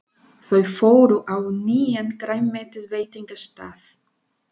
Þau fóru á nýjan grænmetisveitingastað.